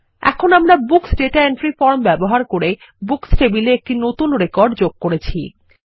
এখন আমরা books data entry form ব্যবহার করে বুকস টেবিল এ একটি নতুন রেকর্ড যোগ করেছি